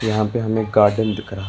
यहां पे हमें गार्डन दिख रहा--